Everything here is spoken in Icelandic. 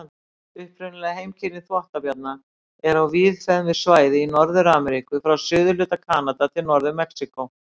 Upprunaleg heimkynni þvottabjarna eru á víðfeðmu svæði í Norður-Ameríku, frá suðurhluta Kanada til Norður-Mexíkó.